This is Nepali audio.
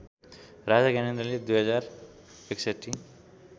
राजा ज्ञानेन्द्रले २०६१